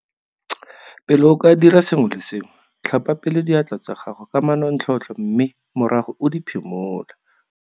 Pele o ka dira sengwe le sengwe, tlhapa pele diatla tsa gago ka manontlhotlho mme morago o di phimole.